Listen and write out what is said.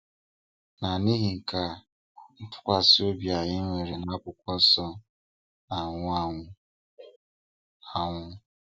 Na n'ihi nke a, ntụkwasị obi anyị nwere n'akwụkwọ nsọ na-anwụ anwụ. anwụ.